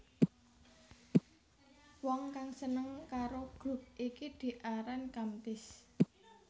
Wong kang seneng karo grup iki diaran Kamtis